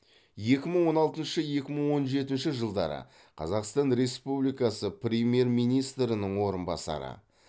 екі мың он алтыншы екі мың он жетінші жылдары қазақстан республикасы премьер министрінің орынбасары